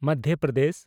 Madhya Pradesh